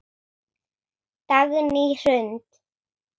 Dagný Hrund.